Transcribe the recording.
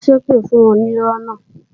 Ó ń ṣépè fún onírọ́ náà